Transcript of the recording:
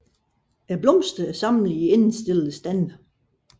Blomsterne er samlet i endestillede stande